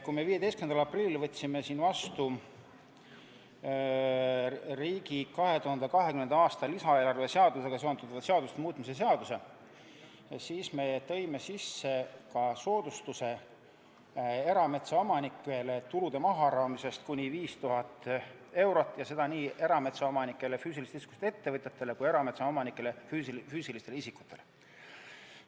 Kui me 15. aprillil võtsime siin vastu riigi 2020. aasta lisaeelarve seadusega seonduvate seaduste muutmise seaduse, siis me tõime sisse ka erametsaomanike soodustuse, tulude mahaarvamise kuni 5000 eurot, ja seda nii erametsaomanikest füüsilisest isikust ettevõtjatele kui ka erametsaomanikest füüsilistele isikutele.